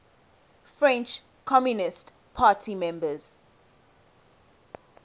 french communist party members